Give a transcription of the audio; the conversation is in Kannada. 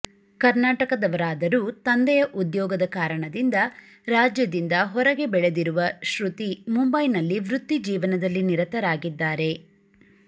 ಕರ್ನಾಟಕದವರಾದರೂ ತಂದೆಯ ಉದ್ಯೋಗದ ಕಾರಣದಿಂದ ರಾಜ್ಯದಿಂದ ಹೊರಗೆ ಬೆಳೆದಿರುವ ಶ್ರುತಿ ಮುಂಬೈನಲ್ಲಿ ವೃತ್ತಿ ಜೀವನದಲ್ಲಿ ನಿರತರಾಗಿದ್ದಾರೆ